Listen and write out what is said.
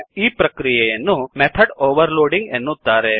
ಈ ಪ್ರಕ್ರಿಯೆಯನ್ನು method overloading ಎನ್ನುತ್ತಾರೆ